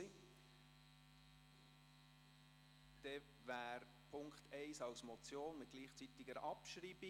Dann steht der Punkt 1 als Motion mit gleichzeitiger Abschreibung.